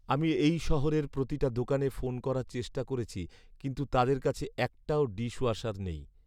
আমি এই শহরের প্রতিটা দোকানে ফোন করার চেষ্টা করেছি, কিন্তু তাদের কাছে একটাও ডিশওয়াশার নেই।